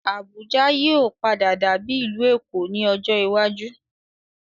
Abuja yìí ó padà dàbí ìlú Èkó ni ọjọ́ iwájú